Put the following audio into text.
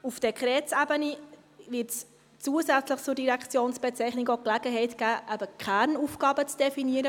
Auf Dekretsebene wird es zusätzlich zur Direktionsbezeichnung auch die Gelegenheit geben, die Kernaufgaben zu definieren.